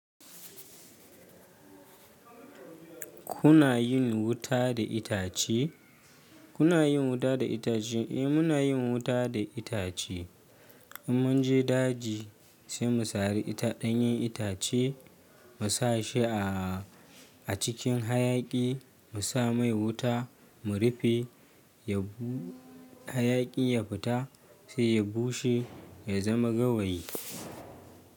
Kuna yin wuta da itace? Kuna yin wuta da itace? Eh muna yin wuta da itace. In mun je daji sai mu sari ɗanyen itace mu sa shi a cikin hayaƙi mu sa mai wuta mu rufe hayaƙi ya fita sai ya bushe ya zama gawayi.